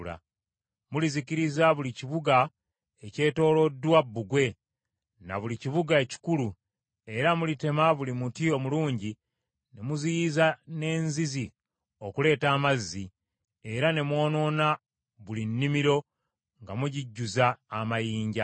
Mulizikiriza buli kibuga ekyetooloddwa bbugwe na buli kibuga ekikulu, era mulitema buli muti omulungi, ne muziyiza n’enzizi okuleeta amazzi, era ne mwonoona buli nnimiro nga mugijjuza amayinja.’ ”